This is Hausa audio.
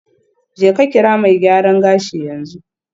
Jeka kira mai gyaran gashi yanzu.